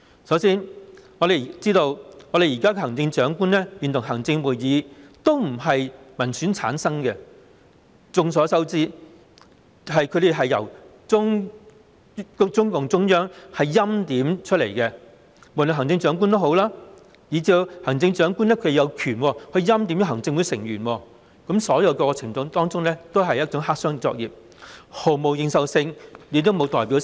首先，現時行政長官會同行政會議並非由民選產生，眾所周知，他們是由中共中央政府欽點，無論是行政長官，以至行政長官有權欽點的行政會議成員，所有過程都是黑箱作業，毫無認受性，亦沒有代表性。